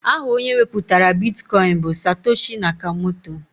Aha onye wepụtara bitkọin bụ Satoshi Nakamoto.